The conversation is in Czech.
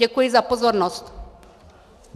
Děkuji za pozornost.